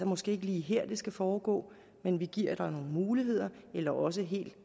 måske ikke lige her det skal foregå men vi giver dig nogle muligheder eller også